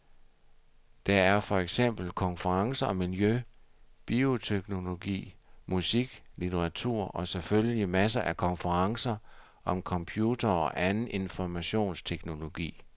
Der er for eksempel konferencer om miljø, bioteknologi, musik, litteratur, og, selfølgelig, masser af konferencer om computere og anden informationsteknologi.